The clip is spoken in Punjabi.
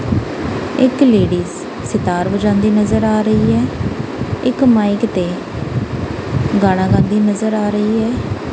ਇੱਕ ਲੇਡੀਜ਼ ਸਿਤਾਰ ਵਜਾਉਂਦੀ ਨਜ਼ਰ ਆ ਰਹੀ ਐ ਇੱਕ ਮਾਈਕ ਤੇ ਗਾਣਾ ਗਾਂਦੀ ਨਜ਼ਰ ਆ ਰਹੀ ਐ।